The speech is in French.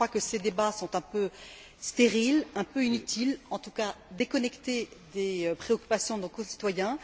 Je crois que ces débats sont un peu stériles, un peu inutiles, en tout cas déconnectés des préoccupations de nos concitoyens.